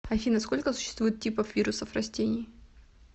афина сколько существует типов вирусов растений